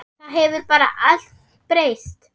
Það hefur bara allt breyst.